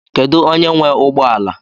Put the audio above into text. Kedụ onye nwe ụgbọala?